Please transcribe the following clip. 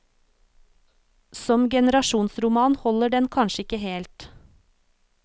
Som generasjonsroman holder den kanskje ikke helt.